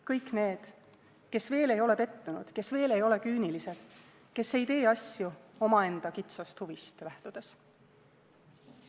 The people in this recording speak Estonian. Kõik need, kes veel ei ole pettunud, kes veel ei ole küünilised, kes ei tee asju omaenda kitsast huvist lähtudes.